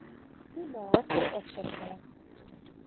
toelae ten opsigte